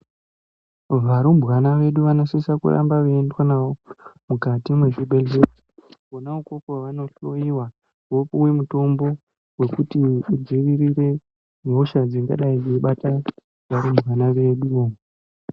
Varumbwana vedu vanosisawo kuramba veiendwa navo mumati mwezvibhehlera, kona ikoko vanohloiwa vopiwa mutombo wekuti kudzivirire hosha dzingadai dzeibata vana vedu.